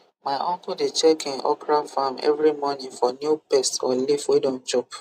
my uncle dey check him okra farm every morning for new pest or leaf wey don chop